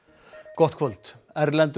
gott kvöld erlendur